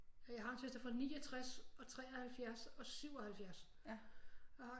Jeg har en søster fra 69 og 73 og 77 og